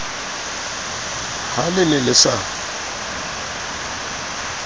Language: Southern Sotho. ha le ne le sa